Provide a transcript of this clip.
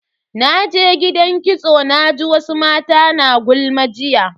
Naje gidan kitso naji wasu mata na gulma jiya.